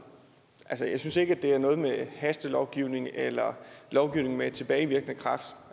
altså jeg synes ikke at det har noget med hastelovgivning eller lovgivning med tilbagevirkende kraft